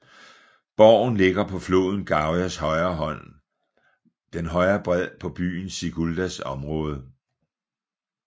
Borgen ligger på floden Gaujas højre bred på byen Siguldas område